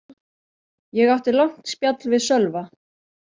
Ég átti langt spjall við Sölva.